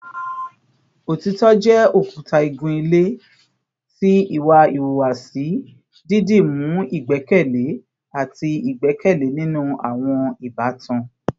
Otitọ jẹ okuta igun-ile ti iwa ihuwasi, didimu igbẹkẹle ati igbẹkẹle ninu awọn ibatan